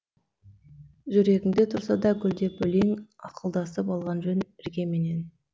жүрегіңде тұрса да гүлдеп өлең ақылдасып алған жөн іргеменен